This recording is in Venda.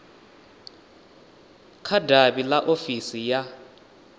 kha davhi ḽa ofisi ya